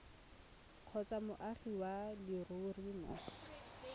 kgotsa moagi wa leruri mo